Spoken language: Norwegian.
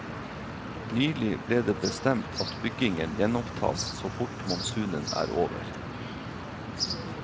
Nylig ble det bestemt at byggingen gjenopptas så fort monsunen er over.